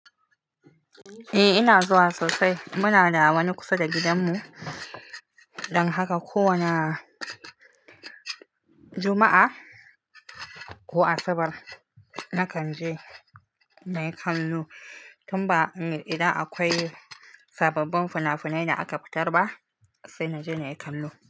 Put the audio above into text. Eh ina zuwa sosai. Muna da wani kusa da gidanmu. Dan haka ko wane juma'a ko asabar, nakan je Nayi kallo. Tun ba idan akwai sababbin fina-finai da aka fitar ba, sai naje Neikannu.